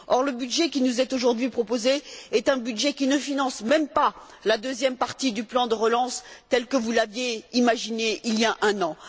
Le budget qui nous est aujourd'hui proposé est un budget qui ne finance même pas la deuxième partie du plan de relance tel que vous l'aviez imaginé il y a un an.